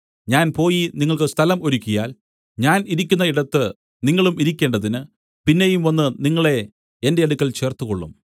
ഞാൻ പോയി നിങ്ങൾക്ക് സ്ഥലം ഒരുക്കിയാൽ ഞാൻ ഇരിക്കുന്ന ഇടത്ത് നിങ്ങളും ഇരിക്കേണ്ടതിന് പിന്നെയും വന്നു നിങ്ങളെ എന്റെ അടുക്കൽ ചേർത്തുകൊള്ളും